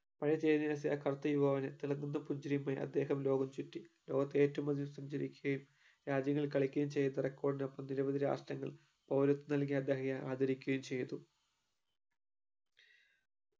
പഴയ ചേരിനിവാസിയായ കറുത്ത യുവാവിന് തിളങ്ങുന്ന പുഞ്ചിരിയുമായി അദ്ദേഹം ലോകം ചുറ്റി ലോകത്ത് ഏറ്റവും അധികം സഞ്ചരിക്കുകയും രാജ്യങ്ങളിൽ കളിക്കുകയും ചെയ്ത record നൊപ്പം നിരവധി രാഷ്ട്രങ്ങൾ പൗരത്വം നൽകി അദ്ദേഹത്തെ ആദരിക്കുകയും ചെയ്തു